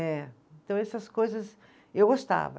É. Então, essas coisas eu gostava.